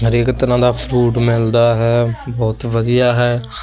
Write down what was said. ਹਰੇਕ ਤਰ੍ਹਾਂ ਦਾ ਫਰੂਟ ਮਿਲਦਾ ਹੈ ਬਹੁਤ ਵਧੀਆ ਹੈ।